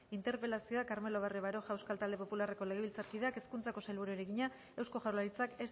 interpelazioa carmelo barrio baroja euskal talde popularreko legebiltzarkideak hezkuntzako sailburuari egina eusko jaurlaritzak